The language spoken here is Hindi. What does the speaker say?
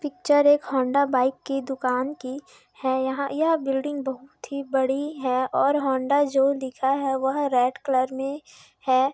पिक्चर एक होण्डा बाइक की दुकान की है यहाँ यह बिल्डिन्ग बहुत ही बड़ी है और होण्डा जो लिखा है वह रेड कलर मे है।